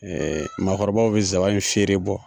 makɔrɔbaw bɛ zaba in fiyere bɔ